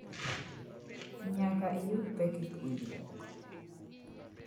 Nyaka iyud pek e puonjruok.